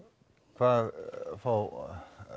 hvað fá